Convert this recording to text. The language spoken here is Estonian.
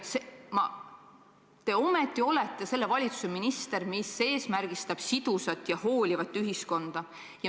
Ometi te olete minister valitsuses, mis eesmärgistab sidusat ja hoolivat ühiskonda.